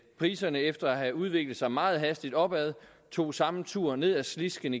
priserne efter at have udviklet sig meget hastigt opad tog samme tur ned ad slisken